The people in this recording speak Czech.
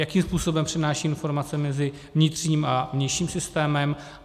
Jakým způsobem přenáší informace mezi vnitřním a vnějším systémem?